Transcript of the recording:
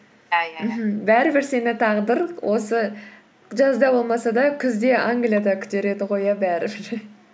бәрібір сені тағдыр осы жазда болмаса да күзде англияда күтер еді ғой иә бәрібір